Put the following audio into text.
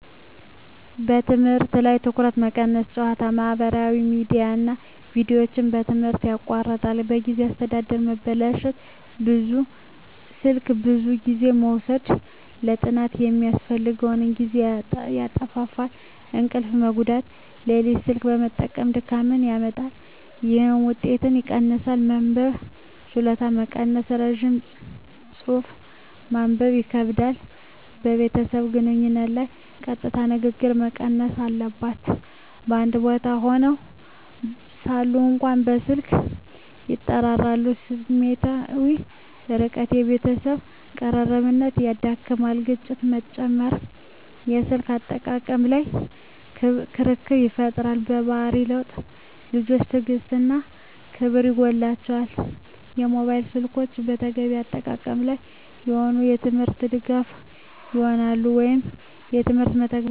በትምህርት ላይ ትኩረት መቀነስ ጨዋታ፣ ማህበራዊ ሚዲያ እና ቪዲዮዎች ትምህርትን ያቋርጣሉ። የጊዜ አስተዳደር መበላሸት ስልክ ብዙ ጊዜ መውሰድ ለጥናት የሚያስፈልገውን ጊዜ ያጣፋፋል። እንቅልፍ መጎዳት ሌሊት ስልክ መጠቀም ድካምን ያመጣል፣ ይህም ውጤትን ይቀንሳል። መንበብ ችሎታ መቀነስ ረጅም ጽሑፍ ማንበብ ይከብዳል። ከቤተሰብ ግንኙነት ላይ ቀጥታ ንግግር መቀነስ አባላት በአንድ ቦታ ሆነው ሳሉ እንኳ በስልክ ይጠራራሉ። ስሜታዊ ርቀት የቤተሰብ ቅርብነት ይዳክመዋል። ግጭት መጨመር የስልክ አጠቃቀም ላይ ክርክር ይፈጠራል። የባህሪ ለውጥ ልጆች ትዕግሥት እና ክብር ይጎላቸዋል። ሞባይል ስልኮች በተገቢ አጠቃቀም ላይ ከሆኑ፣ ለትምህርት ድጋፍ ይሆናሉ (የትምህርት መተግበሪያዎች፣ መረጃ ፍለጋ) እና ከቤተሰብ ጋር ግንኙነትን ያጠነክራል።